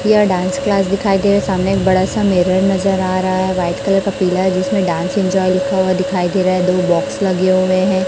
यह dance class दिखाई दे सामने एक बड़ा सा मिरर नजर आ रहा है वाइट कलर का पीला जिसमें डांस इंजॉय लिखा हुआ दिखाई दे रहा है दो बॉक्स लगे हुए हैं।